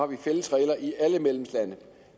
vi fælles regler i alle medlemslande